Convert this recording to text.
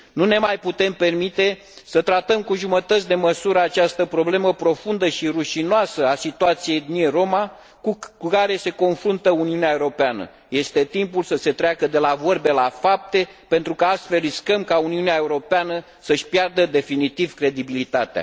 Nu ne mai putem permite să tratăm cu jumătăți de măsură această problemă profundă și rușinoasă a situației etniei rome cu care se confruntă Uniunea Europeană. Este timpul să se treacă de la vorbe la fapte, pentru că, altfel, riscăm ca Uniunea Europeană să își piardă definitiv credibilitatea.